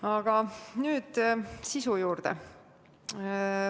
Aga nüüd sisu juurde.